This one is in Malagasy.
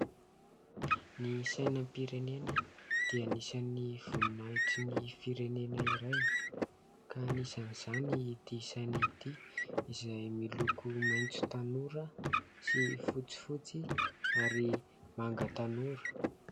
Ny sainam-pirenena dia anisan'ny voninahitry ny firenena iray ka anisan'izany ity saina ity izay miloko maitso tanora sy fotsifotsy ary manga tanora.